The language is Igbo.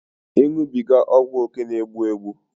ịṅụbiga ọgwụókè na-egbu egbu